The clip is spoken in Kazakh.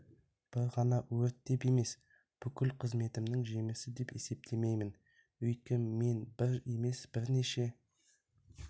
бір ғана өрт деп емес бүкіл қызметімнің жемісі деп есептемеймін өйткені мен бір емес бірнеше